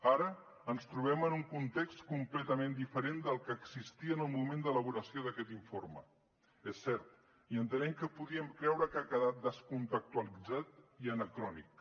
ara ens trobem en un context completament diferent del que existia en el moment d’elaboració d’aquest informe és cert i entenem que podríem creure que ha quedat desconextualitzat i anacrònic